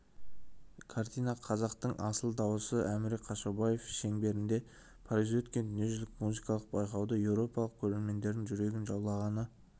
картина қазақтың асыл дауысы әміре қашаубаев шеңберінде парижде өткен дүниежүзілік музыкалық байқауды еуропалық көрермендердің жүрегін жаулағаны